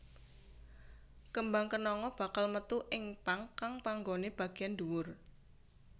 Kembang kenanga bakal metu ing pang kang panggoné bagéyan dhuwur